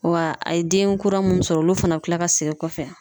Wa a ye den kura munnu sɔrɔ ,olu fana be kila ka segin kɔfɛ.